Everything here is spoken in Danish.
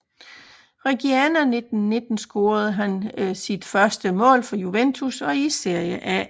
Reggiana 1919 scorede han sit første mål for Juventus og i Serie A